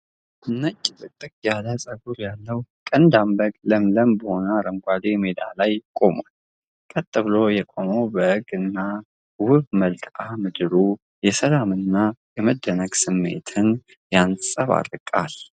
ነጭ ጥቅጥቅ ያለ ፀጉር ያለው ቀንዳም በግ ለምለም በሆነ አረንጓዴ ሜዳ ላይ ቆሟል። ቀጥ ብሎ የቆመው በግና ውብ መልክዓ ምድሩ የሰላምና የመደነቅ ስሜትን ያንፀባርቃል።